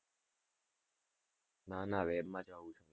ના ના web માં જ.